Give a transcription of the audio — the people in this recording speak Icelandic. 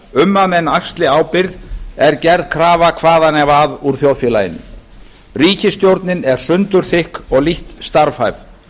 um að menn axli ábyrgð er gerð krafa hvaðanæva úr þjóðfélaginu ríkisstjórnin er sundurþykk og lítt starfhæf